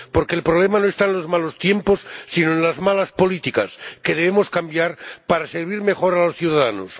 Porque el problema no está en los malos tiempos, sino en las malas políticas, que debemos cambiar para servir mejor a los ciudadanos.